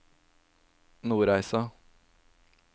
Nordreisa